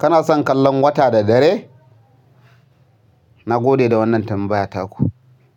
Kana son kallon wata da dare? Na gode da wannan tambaya taku.